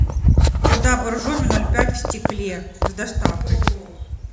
вода боржоми ноль пять в стекле с доставкой